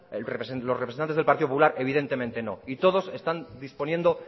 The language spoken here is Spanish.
los representantes del partido popular evidentemente no y todos están disponiendo